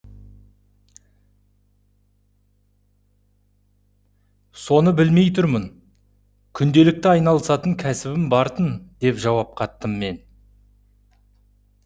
соны білмей тұрмын күнделікті айналысатын кәсібім бар тын деп жауап қаттым мен